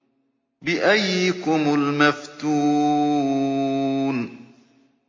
بِأَييِّكُمُ الْمَفْتُونُ